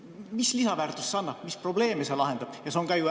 Mis lisaväärtust see annab, mis probleeme see lahendab?